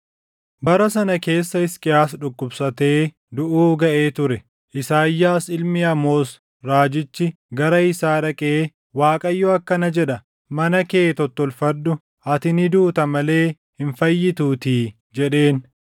Bara sana keessa Hisqiyaas dhukkubsatee duʼuu gaʼee ture. Isaayyaas ilmi Amoos raajichi gara isaa dhaqee, “ Waaqayyo akkana jedha; ‘Mana kee tottolfadhu; ati ni duuta malee hin fayyituutii’ ” jedheen.